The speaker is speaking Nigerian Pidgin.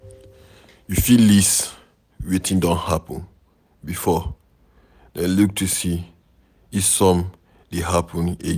You fit list wetin don happen before then look to see if some dey happen again